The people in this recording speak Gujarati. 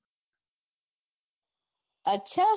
અચ્છા